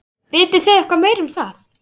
Vitið þið eitthvað meira um það?